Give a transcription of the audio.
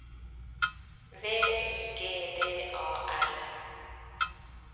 V I G D A L